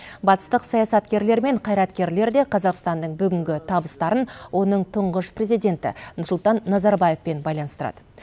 батыстық саясаткерлер мен қайраткерлер де қазақстанның бүгінгі табыстарын оның тұңғыш президенті нұрсұлтан назарбаевпен байланыстырады